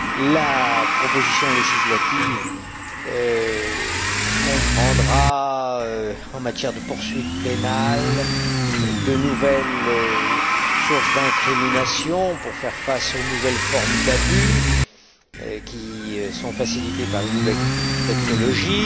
La proposition législative comprendra, en matière de poursuites pénales, de nouvelles sources d'incrimination pour faire face aux nouvelles formes d'abus qui sont facilitées par les nouvelles technologies.